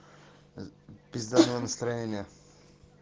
пиздатого настроения